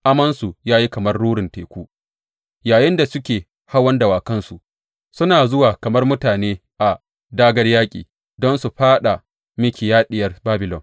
Amonsu ya yi kamar rurin teku yayinda suke hawan dawakansu; suna zuwa kamar mutane a dāgār yaƙi don su fāɗa miki, ya Diyar Babilon.